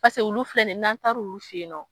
Paseke olu filɛ nin ye n'an talu fe yen nɔ